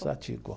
Satiko.